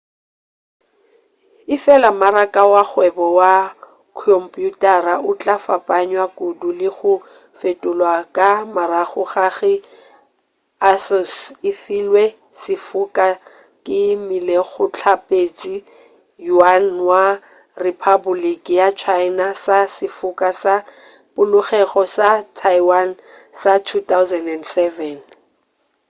efela maraka wa kgwebo wa khomphuthara o tla fapanywa kudu le go fetolwa ka morago ga ge asus e filwe sefoka ke molekgotlaphethiši yuan wa rephapoliki ya china sa sefoka sa polokego sa taiwan sa 2007